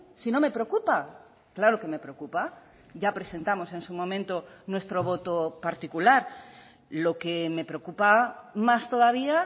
si no me preocupa claro que me preocupa ya presentamos en su momento nuestro voto particular lo que me preocupa más todavía